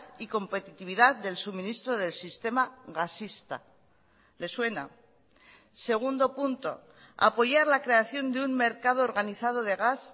y competitividad del suministro del sistema gasista le suena segundo punto apoyar la creación de un mercado organizado de gas